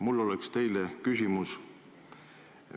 Mul on teile järgmised küsimused.